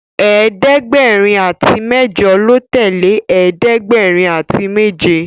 ẹ̀ẹ́dẹ̀gbẹ̀rin àti mẹjọ lọ tẹle ẹ̀ẹ́dẹ̀gbẹ̀rin àti méje